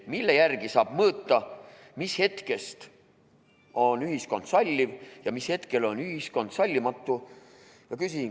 Mille järgi saab mõõta, mis hetkest on ühiskond salliv ja mis hetkel on ühiskond sallimatu?